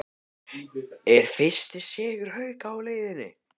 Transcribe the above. ER FYRSTI SIGUR HAUKA Á LEIÐINNI???